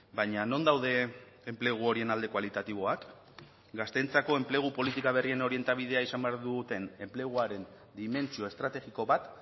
baina non daude enplegu horien alde kualitatiboak gazteentzako enplegu politika berrien orientabidea izan behar duten enpleguaren dimentsio estrategiko bat